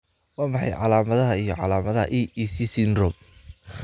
Waa maxay calaamadaha iyo calaamadaha EEC syndrome?